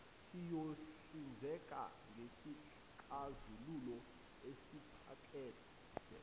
siyohlinzeka ngesixazululo esiphakade